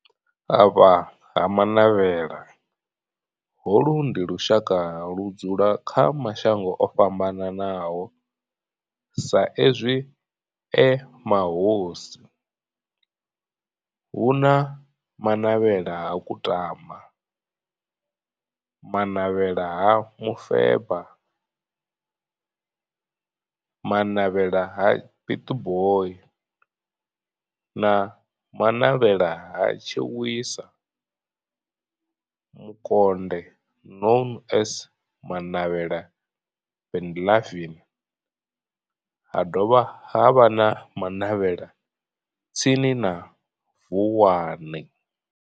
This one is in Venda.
Vha Ha-Manavhela, holu ndi lushaka ludzula kha mashango ofhambanaho sa izwi e mahosi hu na Manavhela ha Kutama, Manavhela ha Mufeba, Manavhela ha Pietboi na Manavhela ha Tshiwisa Mukonde known as Manavhela Benlavin ha dovha havha na Manavhela tsini na Vuwani.